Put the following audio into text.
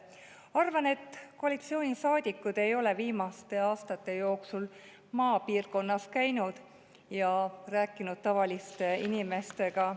Arvan, et koalitsioonisaadikud ei ole viimaste aastate jooksul maapiirkonnas käinud ja rääkinud tavaliste inimestega.